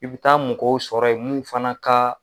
I bi taa mɔgɔw sɔrɔ ye mun fana ka